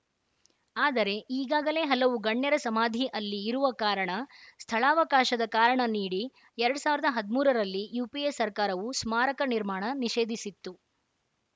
ಆದರೆ ಈಗಾಗಲೇ ಹಲವು ಗಣ್ಯರ ಸಮಾಧಿ ಅಲ್ಲಿ ಇರುವ ಕಾರಣ ಸ್ಥಳಾವಕಾಶದ ಕಾರಣ ನೀಡಿ ಎರಡ್ ಸಾವಿರದ ಹದ್ ಮೂರರಲ್ಲಿ ಯುಪಿಎ ಸರ್ಕಾರವು ಸ್ಮಾರಕ ನಿರ್ಮಾಣ ನಿಷೇಧಿಸಿತ್ತು